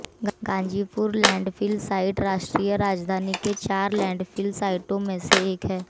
Ghazipur landfill site राष्ट्रीय राजधानी के चार लैंडफिल साइटों में से एक है